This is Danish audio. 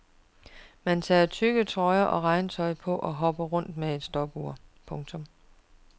Man tager tykke trøjer og regntøj på og hopper rundt med et stopur. punktum